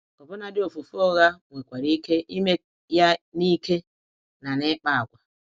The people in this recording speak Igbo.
Ọbụladi ofufe ụgha, nwekwara ike ime ya n’ike na n’ịkpa àgwà.